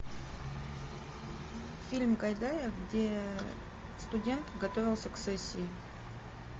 фильм гайдая где студент готовился к сессии